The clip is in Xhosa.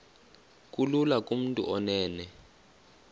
kulula kumntu onen